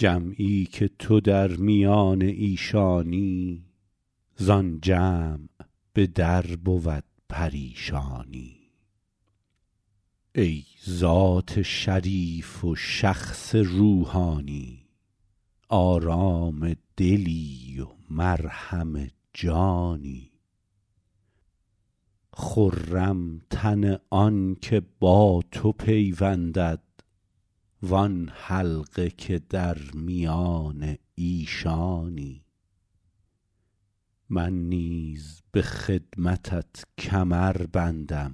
جمعی که تو در میان ایشانی زآن جمع به در بود پریشانی ای ذات شریف و شخص روحانی آرام دلی و مرهم جانی خرم تن آن که با تو پیوندد وآن حلقه که در میان ایشانی من نیز به خدمتت کمر بندم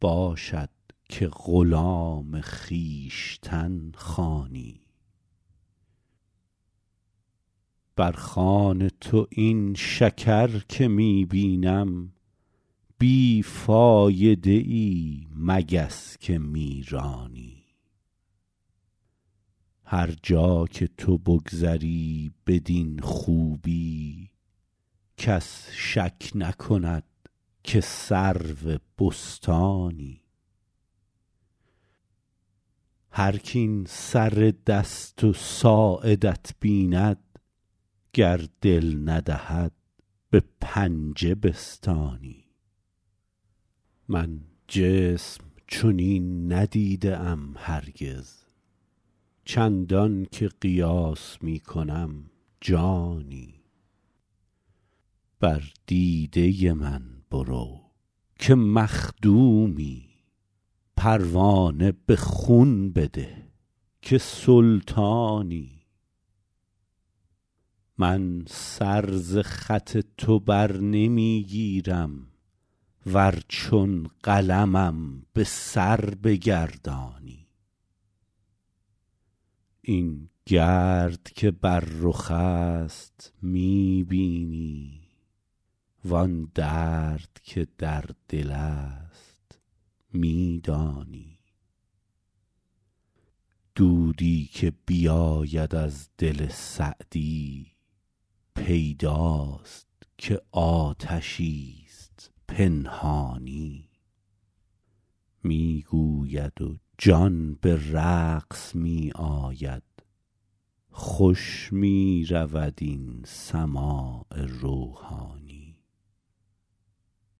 باشد که غلام خویشتن خوانی بر خوان تو این شکر که می بینم بی فایده ای مگس که می رانی هر جا که تو بگذری بدین خوبی کس شک نکند که سرو بستانی هرک این سر دست و ساعدت بیند گر دل ندهد به پنجه بستانی من جسم چنین ندیده ام هرگز چندان که قیاس می کنم جانی بر دیده من برو که مخدومی پروانه به خون بده که سلطانی من سر ز خط تو بر نمی گیرم ور چون قلمم به سر بگردانی این گرد که بر رخ است می بینی وآن درد که در دل است می دانی دودی که بیاید از دل سعدی پیداست که آتشی ست پنهانی می گوید و جان به رقص می آید خوش می رود این سماع روحانی